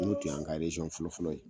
N'o tun y'an ka eresɔn fɔlɔfɔlɔ ye